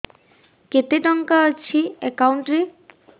କେତେ ଟଙ୍କା ଅଛି ଏକାଉଣ୍ଟ୍ ରେ